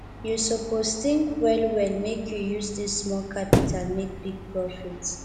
you suppose tink wellwell make you use dis small capital make big profit